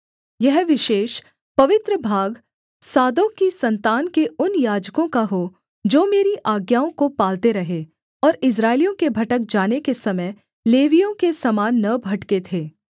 यह विशेष पवित्र भाग सादोक की सन्तान के उन याजकों का हो जो मेरी आज्ञाओं को पालते रहें और इस्राएलियों के भटक जाने के समय लेवियों के समान न भटके थे